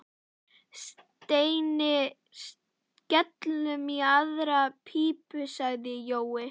Steini, skellum í aðra pípu sagði Jói.